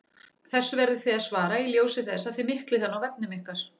Þessu verðið þið að svara í ljósi þess að þið miklið hann á vefnum ykkar!